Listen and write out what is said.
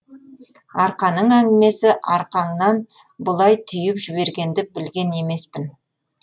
арқаның әңгімесі арқаңнан бұлай түйіп жібергенді білген емеспін